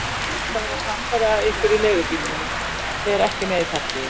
Ég ætla að verða samferða ykkur í leigubílnum en fer ekki með í partíið.